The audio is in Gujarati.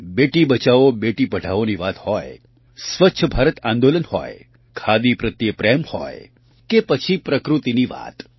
બેટીબચાવો બેટી પઢાઓની વાત હોય સ્વચ્છ ભારત આંદોલન હોય ખાદી પ્રત્યે પ્રેમ હોય કે પછી પ્રકૃતિની વાત